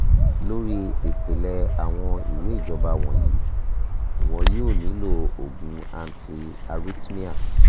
lórí ìpìlẹ̀ àwọn ìwé ìjábọ̀ wọ̀nyí ìwọ yóò nílò òògùn anti arrhythmia